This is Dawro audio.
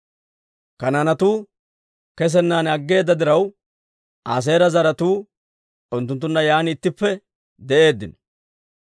Kanaanetuu kesenan aggeeda diraw, Aaseera zaratuu unttunttunna yaan ittippe de'eeddino.